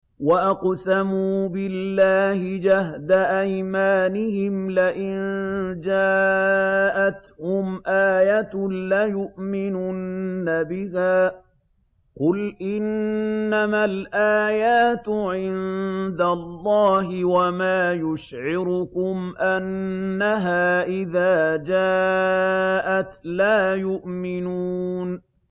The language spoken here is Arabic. وَأَقْسَمُوا بِاللَّهِ جَهْدَ أَيْمَانِهِمْ لَئِن جَاءَتْهُمْ آيَةٌ لَّيُؤْمِنُنَّ بِهَا ۚ قُلْ إِنَّمَا الْآيَاتُ عِندَ اللَّهِ ۖ وَمَا يُشْعِرُكُمْ أَنَّهَا إِذَا جَاءَتْ لَا يُؤْمِنُونَ